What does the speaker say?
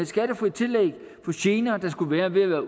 skattefrit tillæg for gener der skulle være ved at